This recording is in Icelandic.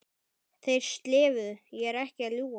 Þeir slefuðu, ég er ekki að ljúga!